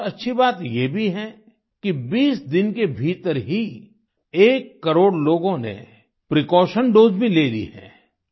एक और अच्छी बात ये भी है कि 20 दिन के भीतर ही एक करोड़ लोगों ने प्रीकॉशन दोसे भी ले ली है